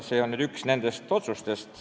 See on üks nendest otsustest.